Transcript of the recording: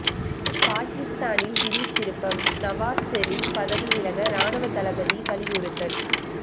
பாகிஸ்தானில் திடீர் திருப்பம் நவாஸ் ஷெரீப் பதவி விலக ராணுவ தளபதி வலியுறுத்தல்